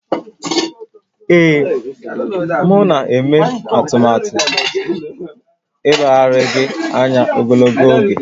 Ee, m na-eme atụmatụ ileghara gị anya ogologo oge